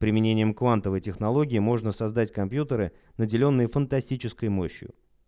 применением квантовой технологии можно создать компьютеры наделённые фантастической мощью